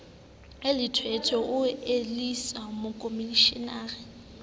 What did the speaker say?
e lethwethwe o elellwise mokomishenara